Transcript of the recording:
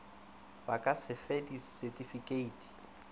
ba ka se fe disetifikeiti